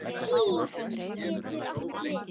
SÍ getur átt við